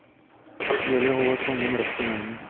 Det gjelder å holde tungen rett i munnen.